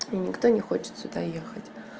и никто не хочет сюда ехать